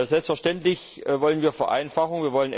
Selbstverständlich wollen wir Vereinfachung.